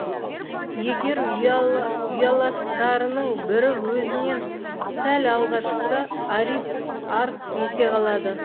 егер ұяластарының бірі өзінен сәл алға шықса орит арс ете қалады